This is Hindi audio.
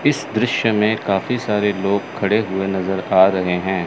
इस दृश्य में काफी सारे लोग खड़े हुए नजर आ रहे हैं।